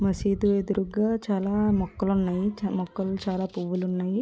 మసీదు ఎదురుగా చాలా మొక్కలు ఉన్నాయి.చాల మొక్కలు చాలా పువ్వులున్నాయి.